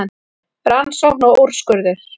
Rannsókn og úrskurður